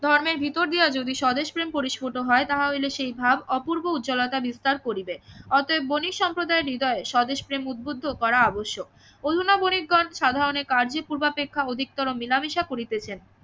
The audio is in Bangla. ধর্মের ভিতর দিয়া যদি স্বদেশ প্রেম পরিস্ফুট হয় তাহা হইলে সেইভাবে অপূর্ব উজ্বলতা বিস্তার করিবে অতএব বণিক সম্প্রদায়ের হৃদয়ে স্বদেশ প্রেম উদ্বুদ্ধ করা আবশ্যক